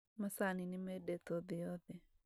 Macani nĩmendetwo thĩ yothe